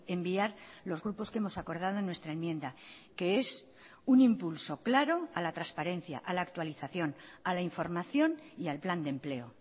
enviar los grupos que hemos acordado en nuestra enmienda que es un impulso claro a la transparencia a la actualización a la información y al plan de empleo